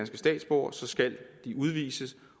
statsborgere skal de udvises